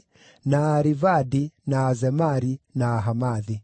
na Aarivadi, na Azemari, na Ahamathi.